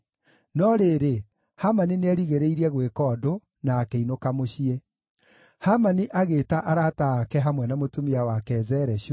No rĩrĩ, Hamani nĩerigĩrĩirie gwĩka ũndũ, na akĩinũka mũciĩ. Hamani agĩĩta arata ake hamwe na mũtumia wake, Zereshu,